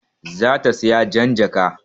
Za ta saya jan jaka